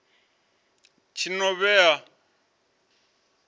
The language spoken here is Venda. tshinovhea